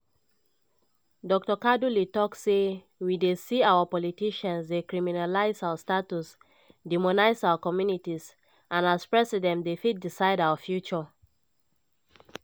dr kaduli tok say "we dey see our politicians dey criminalise our status demonise our communities and as president dem fit decide our future."